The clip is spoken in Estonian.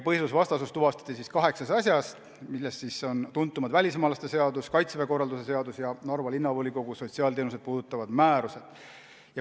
Põhiseadusvastasus tuvastati kaheksas asjas, millest tuntuimad puudutasid välismaalaste seadust, Kaitseväe korralduse seadust ja Narva Linnavolikogu sotsiaalteenuseid puudutavaid määrusi.